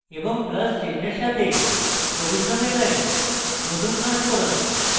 এবং plus চিহ্ন এর সাথে সবুজ রঙের line নতুন সংস্করণ